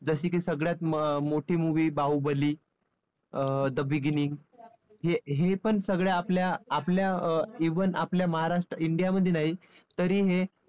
जशी की सगळ्यात मोठी movie बाहुबली अं the beginning हे हे पण सगळे आपल्या आपल्या अं even आपल्या महाराष्ट्र India मध्ये नाही तरी हे